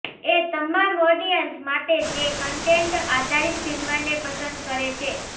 એ તમામ ઓડિયન્સ માટે જે કન્ટેન્ટ આધારીત ફિલ્મને પસંદ કરે છે